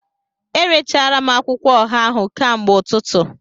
Erechara m akwụkwọ ọha ahụ kamgbe ụtụtụ